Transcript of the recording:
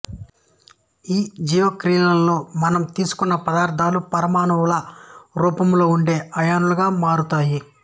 ఈ జీవక్రియల్లో మనం తీసుకున్న పదార్థాలు పరమాణువుల రూపంలో ఉండే అయాన్లుగా మారతాయి